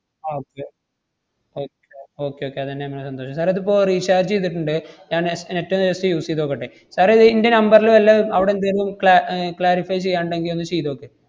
okay okay okay okay അതന്നെ മ്മളെ സന്തോഷം. sir ഏ ഇതിപ്പോ recharge ചെയ്തിട്ടിണ്ട്. ഞാൻ ne~ net ഒന്ന് just use ചെയ്ത് നോക്കട്ടെ. sir ഏ ഇത് ഇന്‍റെ number ല് വല്ല അവടെന്തേലും cla~ ഏർ clarify ചെയ്യാനെണ്ടെങ്കി ഒന്ന് ചെയ്ത് നോക്ക്.